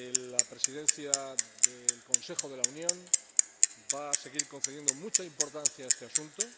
La Presidencia del Consejo de la Unión va a seguir concediendo mucha importancia a este asunto.